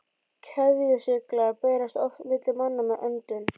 Keðjusýklar berast oft milli manna með öndun.